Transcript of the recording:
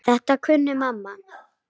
Þetta kunni mamma.